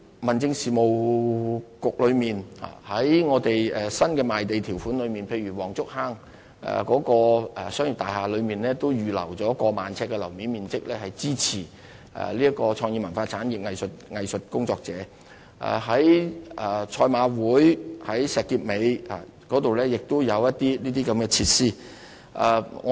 民政事務局透過我們的新賣地條款裏，例如黃竹坑的商業大廈都預留了逾萬平方呎的樓面面積，支持文化創意產業藝術工作者；在石硤尾的賽馬會創意藝術中心亦有這些設施。